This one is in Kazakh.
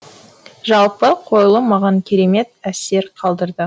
жалпы қойылым маған кермет әсер қалдырды